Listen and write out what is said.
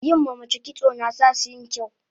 yin ma mace kitso nasasu yin kyau